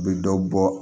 U bɛ dɔ bɔ